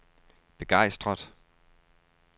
begejstret